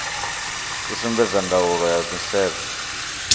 i sumbedza ndaulo ya nisedzo